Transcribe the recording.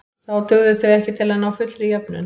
Þá dugðu þau ekki til að ná fullri jöfnun.